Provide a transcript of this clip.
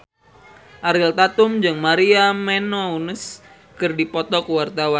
Ariel Tatum jeung Maria Menounos keur dipoto ku wartawan